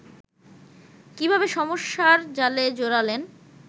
কীভাবে সমস্যার জালে জড়ালেন